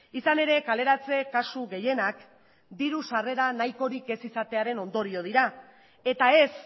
izan ere kaleratze kasu gehienak diru sarrera nahikorik ez izatearen ondorio dira eta ez